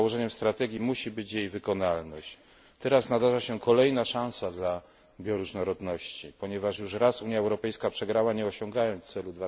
Głównym założeniem strategii musi być jej wykonalność. Teraz nadarza się kolejna szansa dla bioróżnorodności, ponieważ już raz Unia Europejska przegrała, nie osiągając celu